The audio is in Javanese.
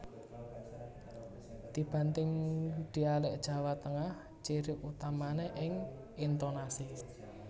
Dibanding dialek Jawa Tengah ciri utamane ing intonasi